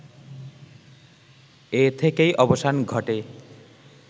এ থেকেই অবসান ঘটে